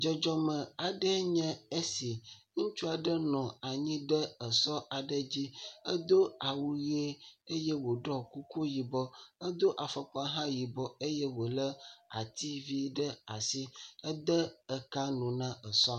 Dzɔdzɔme aɖee nye esi, ŋutsu aɖe nɔ anyi ɖe esɔ aɖe dzi, edo awu ʋie eye wòɖu kuku yibɔ edo afɔkpa yibɔ eye wòlé ati vi aɖe ɖe asi, ede ka nu na esɔ la.